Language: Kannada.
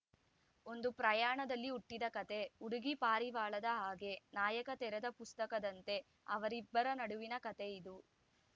ಒಂದು ಪ್ರಯಾಣದಲ್ಲಿ ಹುಟ್ಟಿದ ಕತೆ ಹುಡುಗಿ ಪಾರಿವಾಳದ ಹಾಗೆ ನಾಯಕ ತೆರದ ಪುಸ್ತಕದಂತೆ ಅವರಿಬ್ಬರ ನಡುವಿನ ಕತೆ ಇದು